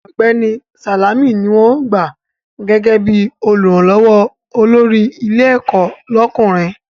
Ọ̀gbẹ́ni Sàlámì ni wọ́n ó gbà gẹ́gẹ́ bí Olùrànlọ́wọ́ olórí ilé ẹ̀kọ́ lọ́kùnrin